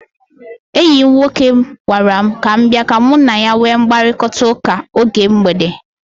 Enyi m nwoke gwara m ka m bia ka mụ na ya nwee mkparịkọtaụka oge mgbede.